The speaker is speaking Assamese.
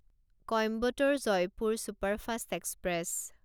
Coimbatore Jaipur superfast express